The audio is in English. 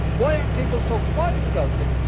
Why are people so quiet about this?